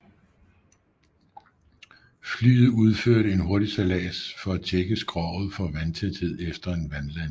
Flyet udførte en hurtig sejlads for at tjekke skroget for vandtæthed efter en vandlanding